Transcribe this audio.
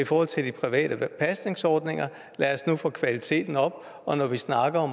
forhold til de private pasningsordninger lad os nu få kvaliteten op og når vi snakker